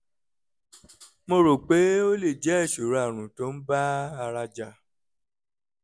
mo rò pé ó lè jẹ́ ìṣòro àrùn tó ń bá ara jà